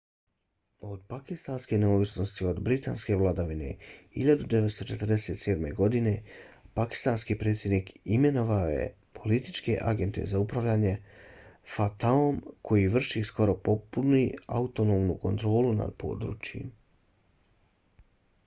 od pakistanske neovisnosti od britanske vladavine 1947. godine pakistanski predsjednik imenovao je političke agente za upravljanje fata-om koja vrši skoro potpunu autonomnu kontrolu nad područjima